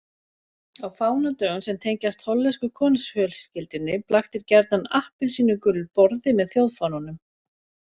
Á fánadögum sem tengjast hollensku konungsfjölskyldunni blaktir gjarnan appelsínugulur borði með þjóðfánanum.